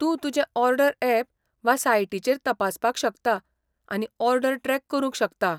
तूं तुजें order app वा सायटीचेर तपासपाक शकता आनी ऑर्डर ट्रॅक करूंक शकता.